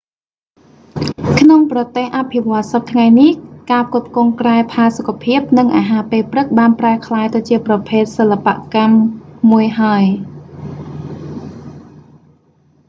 ក្នុងប្រទេសអភិវឌ្ឍសព្វថ្ងៃនេះ ការផ្គត់ផ្គង់គ្រែផាសុកភាព និងអាហារពេលព្រឹកបានប្រែក្លាយទៅជាប្រភេទសិល្បកម្មមួយហើយ